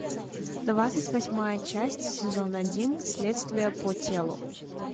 двадцать восьмая часть сезон один следствие по телу